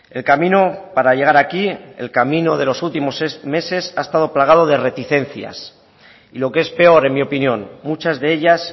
el camino para llegar aquí el camino de los últimos meses ha estado plagado de reticencias y lo que es peor en mi opinión muchas de ellas